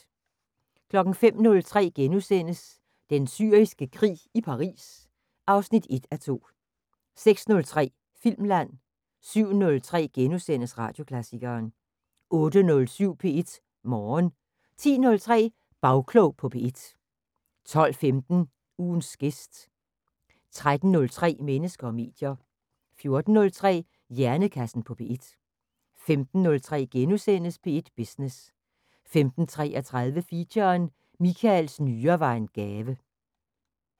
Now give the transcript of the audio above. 05:03: Den Syriske Krig – i Paris 1:2 * 06:03: Filmland 07:03: Radioklassikeren * 08:07: P1 Morgen 10:03: Bagklog på P1 12:15: Ugens gæst 13:03: Mennesker og medier 14:03: Hjernekassen på P1 15:03: P1 Business * 15:33: Feature: Michaels nyre var en gave